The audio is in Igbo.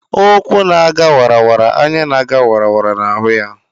Ụkwụ na aga wara wara anya na-aga wara wara na ahụ ya.